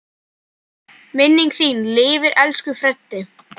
Minning þín lifir, elsku Freddi.